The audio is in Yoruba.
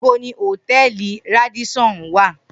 Nibo ni Hotẹẹli Radisson wa?